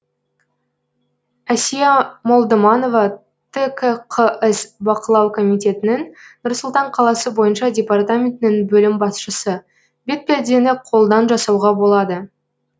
әсия молдыманова ткқс бақылау комитетінің нұр сұлтан қаласы бойынша департаментінің бөлім басшысы бетпердені қолдан жасауға болады